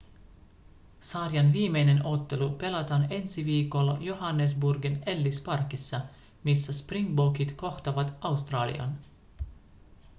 sarjan viimeinen ottelu pelataan ensi viikolla johannesburgin ellis parkissa missä springbokit kohtaavat australian